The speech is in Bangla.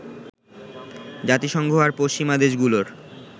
জাতিসংঘ আর পশ্চিমা দেশগুলোর